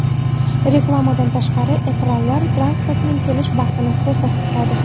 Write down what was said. Reklamadan tashqari, ekranlar transportning kelish vaqtini ko‘rsatib turadi.